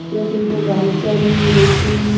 जैसे उनको गाइड कर रही है देख रही है।